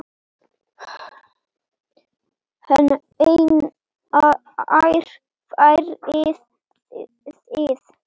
Hvenær farið þið?